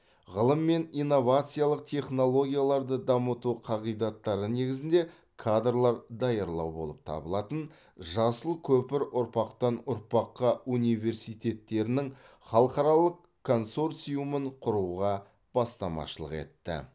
ғылым мен инновациялық технологияларды дамыту қағидаттары негізінде кадрлар даярлау болып табылатын жасыл көпір ұрпақтан ұрпаққа университеттерінің халықаралық консорциумын құруға бастамашылық етті